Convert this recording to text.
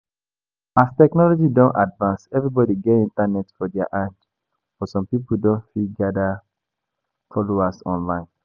As technology don advance, everybody get internet for their hand, but some pipo don fit gather followers online